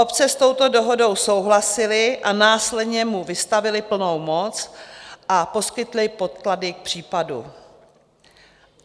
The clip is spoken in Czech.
Obce s touto dohodou souhlasily a následně mu vystavily plnou moc a poskytly podklady k případu.